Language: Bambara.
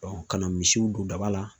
ka na misiw don daba la.